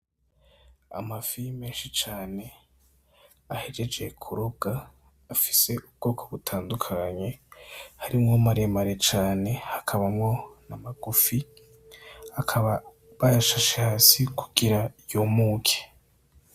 Amafi menshi cane ahejeje kurobwa afise ubwoko butandukanye harimwo maremare cane hakabamwo amagufi akaba bayashashe hasi kugira yumuke.